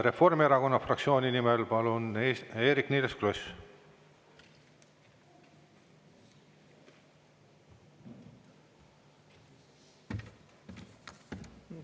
Reformierakonna fraktsiooni nimel, palun, Eerik‑Niiles Kross!